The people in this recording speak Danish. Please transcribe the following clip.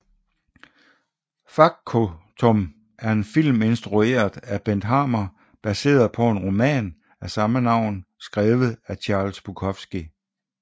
Factotum er en film instrueret af Bent Hamer baseret på en roman af samme navn skrevet af Charles Bukowski